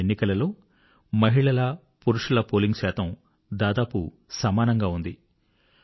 ఈ ఎన్నికలలో మహిళల పురుషుల పోలింగ్ శాతం దాదాపు సమానంగా ఉంది